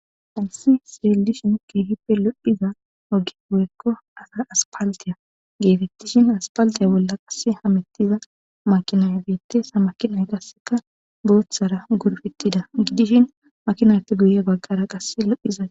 Hansi siralilishin keehippe lo7hiza ogi goyekko asara aspaldiya geetettishin aspaldiya bolla qasse hamettiza makinaya biitesa makinay qasseka booththara gurfettida gidishin makinayppe guye bagqara qasse lo7hizae.